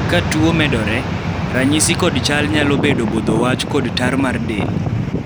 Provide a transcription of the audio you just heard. ka tuo medore, ranyisi kod chal nyalo bedo bodho wach kod tal mar del